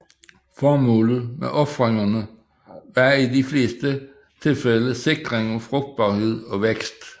Formålet med ofringerne var i de fleste tilfælde sikring af frugtbarhed og vækst